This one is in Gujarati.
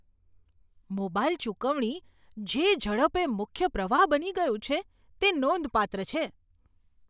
મોબાઈલ ચુકવણી જે ઝડપે મુખ્ય પ્રવાહ બની ગયું છે તે નોંધપાત્ર છે.